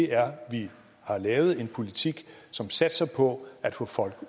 er at vi har lavet en politik som satser på at få folk